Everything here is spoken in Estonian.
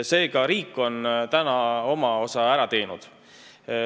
Seega on riik oma osa ära teinud.